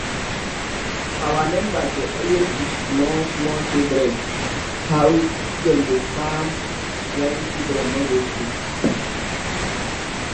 our members dey always teach small small children how dem dey dey farm when children no go school